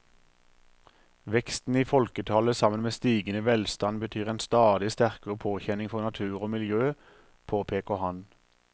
Veksten i folketallet sammen med stigende velstand betyr en stadig sterkere påkjenning for natur og miljø, påpeker han.